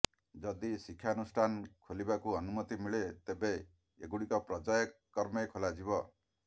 ଯଦି ଶିକ୍ଷାନୁଷ୍ଠାନ ଖୋଲିବାକୁ ଅନୁମତି ମିଳେ ତେବେ ଏଗୁଡିକ ପର୍ଯ୍ୟାୟ କ୍ରମେ ଖୋଲାଯିବ